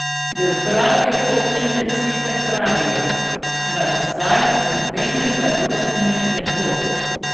V upravi občine sicer pravijo, da zdaj nobenega rušenja ne bo.